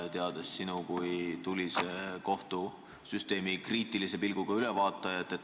Me teame sind kui tulist kohtusüsteemi kriitilise pilguga ülevaatajat.